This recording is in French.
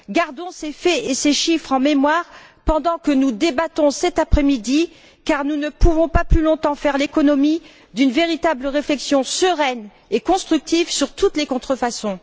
Gardons ces faits et ces chiffres en mémoire pendant que nous débattons cet après midi car nous ne pouvons pas plus longtemps faire l'économie d'une véritable réflexion sereine et constructive sur toutes les contrefaçons.